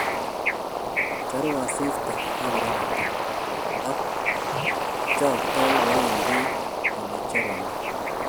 Charu asiista ak kororokto , ak choktoi kowendi ole charunee.